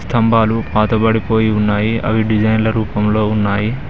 స్తంబాలు పాతబడిపోయి ఉన్నాయి అవి డిజైన్ల రూపంలో ఉన్నాయి.